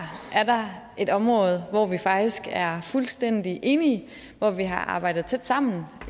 er der et område hvor vi faktisk er fuldstændig enige hvor vi har arbejdet tæt sammen